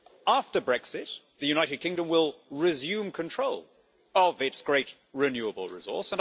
After Brexit, the United Kingdom will resume control of its great renewable resource.